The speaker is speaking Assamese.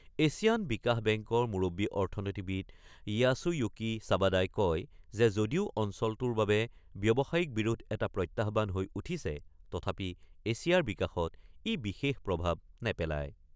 এছিয়ান বিকাশ বেংকৰ মূৰববী অৰ্থনীতিবিদ য়াছুয়ুকি চাৱাদাই কয় যে যদিও অঞ্চলটোৰ বাবে ব্যৱসায়িক বিৰোধ এটা প্ৰত্যাহ্বান হৈ উঠিছে তথাপি এছিয়াৰ বিকাশত ই বিশেষ প্ৰভাৱ নেপেলায়।